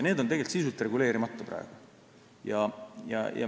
Need on tegelikult praegu sisuliselt reguleerimata.